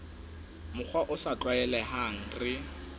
mokgwa o sa tlwaelehang re